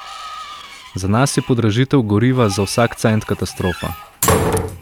Za nas je podražitev goriva za vsak cent katastrofa.